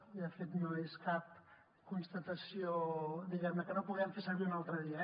i de fet no és cap constatació diguem ne que no puguem fer servir un altre dia